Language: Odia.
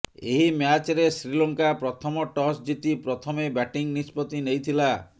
ଏହି ମ୍ୟାଚରେ ଶ୍ରୀଲଙ୍କା ପ୍ରଥମ ଟସ୍ ଜିତି ପ୍ରଥମେ ବ୍ୟାଟିଂ ନିଷ୍ପତ୍ତି ନେଇଥିଲା